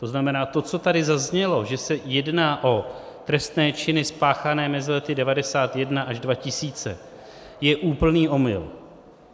To znamená, to, co tady zaznělo, že se jedná o trestné činy spáchané mezi lety 1991 až 2000, je úplný omyl.